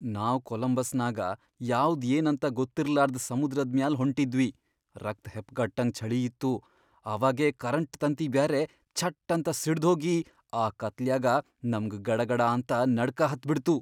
ನಾವ್ ಕೊಲಂಬಸ್ನಾಗ ಯಾವ್ದ್ ಏನಂತ ಗೊತ್ತಿರ್ಲಾರ್ದ್ ಸಮುದ್ರದ್ ಮ್ಯಾಲ್ ಹೊಂಟಿದ್ವಿ, ರಕ್ತ್ ಹೆಪ್ಗಟ್ಟಂಗ್ ಛಳೀ ಇತ್ತು, ಅವಾಗೇ ಕರೆಂಟ್ ತಂತಿ ಬ್ಯಾರೆ ಛಟ್ಟಂತ ಸಿಡ್ದ್ಹೋಗಿ ಆ ಕತ್ಲ್ಯಾಗ ನಮ್ಗ್ ಗಡಗಡಾಂತ ನಡ್ಕ ಹತ್ಬಿಡ್ತು.